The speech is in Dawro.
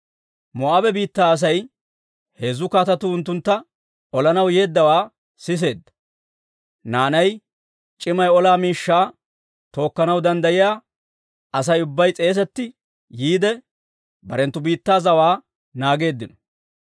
Moo'aabe biittaa Asay heezzu kaatetuu unttuntta olanaw yeeddawaa siseedda. Naanay, c'imay olaa miishshaa tookkanaw danddayiyaa Asay ubbay s'eesetti yiide, barenttu biittaa zawaa naageeddino.